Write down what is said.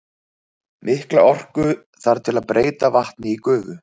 Mikla orku þarf til að breyta vatni í gufu.